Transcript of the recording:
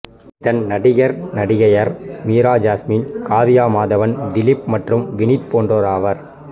இதன் நடிகர் நடிகையர் மீரா ஜாஸ்மின் காவ்யா மாதவன் திலீப் மற்றும் வினீத் போன்றோர் ஆவர்